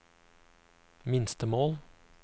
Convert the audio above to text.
minstemål